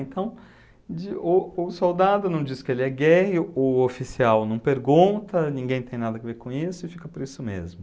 Então, de, o o soldado não diz que ele é gay, o oficial não pergunta, ninguém tem nada a ver com isso e fica por isso mesmo.